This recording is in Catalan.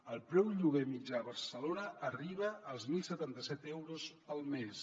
el preu lloguer mitjà a barcelona arriba als deu setanta set euros al mes